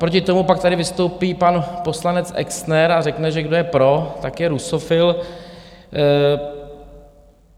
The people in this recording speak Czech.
Naproti tomu pak tady vystoupí pan poslanec Exner a řekne, že kdo je pro , tak je rusofil.